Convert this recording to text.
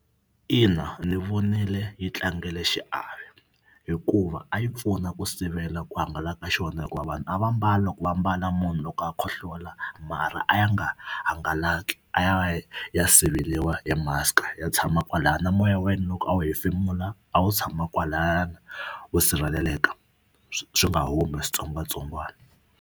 Ina ndzi vonile yi tlangile xiave hikuva a yi pfuna ku sivela ku hangalaka ka xona hikuva vanhu a va mbala loko va ambala munhu loko a khohlola marha a ya nga hangalaki a ya va ya siveriwa hi mask-a ya tshama kwalaya na moya wa yena loko a wu hefemula a wu tshama kwalayani wu sirheleleka swi nga humi switsongwatsongwana.